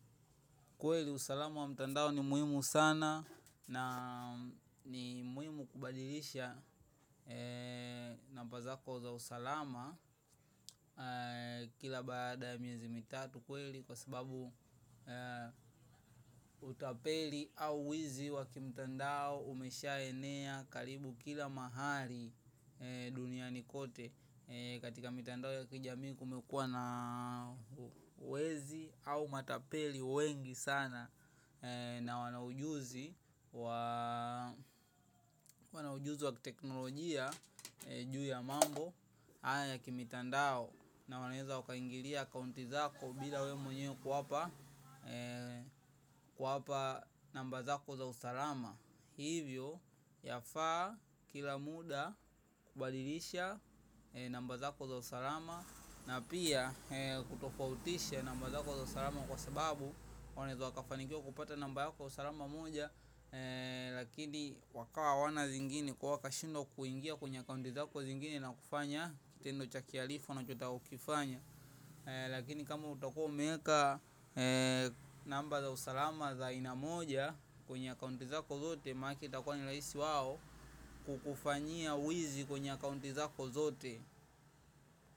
Kweli usalama wa mtandao ni muhimu sana na ni muhimu kubadilisha namba zako za usalama kila baada miezi mitatu kweli. Kwa sababu utapeli au wizi wa kimtandao umesha enea karibu kila mahali duniani kote. Katika mitandao ya kijamii kumekua na wezi au matapeli wengi sana. Na wanaujuzi wa kiteknolojia juu ya mambo haya ya kimitandao na wanaeza wakaingilia akaunti zako bila wewe mwenyewe kuwapa. Kuwapa namba zako za usalama. Hivyo yafaa kila muda kubadilisha namba zako za usalama. Na pia kutofautisha namba zako za usalama kwa sababu wanaeza wakafanikiwa kupata namba yako za usalama moja. Lakini wakawa hawana zingine kwa wakashindwa kuingia kwenye akaunti zako zingine na kufanya kitendo cha kihalifu wanachotaka kukifanya. Lakini kama utakua umeeka namba za usalama za ainamoja kwenye account zako zote manake itakuwa nirahisi wao kukufanyia wizi kwenye account zako zote.